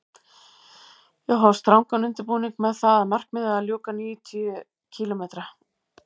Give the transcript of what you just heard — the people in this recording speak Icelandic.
Ég hóf strangan undirbúning með það að markmiði að ljúka níutíu kílómetra